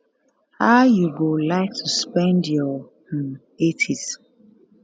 how you go like to spend your um 80s